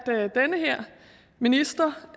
minister